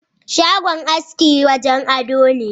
Shagon aski wajen ado ne.